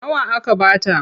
Nawa aka ba ta?